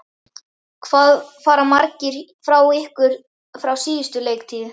Hvað fara margir frá ykkur frá síðustu leiktíð?